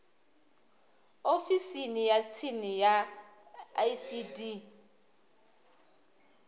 ofisini ya tsini ya icd